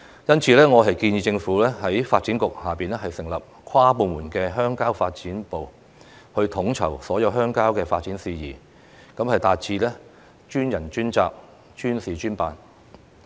因此，我建議政府在發展局下成立跨部門的鄉郊發展部，統籌所有鄉郊的發展事宜，達致專人專責，專事專辦。